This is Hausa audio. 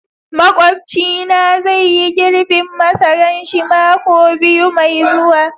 makwapci na zai yi girbin masaran shi mako biyu Mai zuwa.